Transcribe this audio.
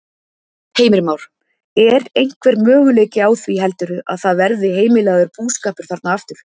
Heimir Már: Er einhver möguleiki á því heldurðu að það verði heimilaður búskapur þarna aftur?